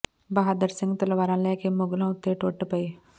ਬਹਾਦਰ ਸਿੰਘ ਤਲਵਾਰਾਂ ਲੈ ਕੇ ਮੁਗ਼ਲਾਂ ਉੱਤੇ ਟੁੱਟ ਪਏ